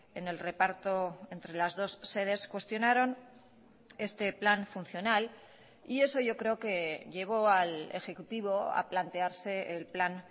en el reparto entre las dos sedes cuestionaron este plan funcional y eso yo creo que llevó al ejecutivo a plantearse el plan